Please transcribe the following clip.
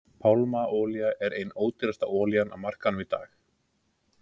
Pálmaolía er ein ódýrasta olían á markaðinum í dag.